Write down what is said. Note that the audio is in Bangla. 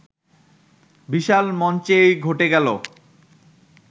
বিশাল মঞ্চেই ঘটে গেল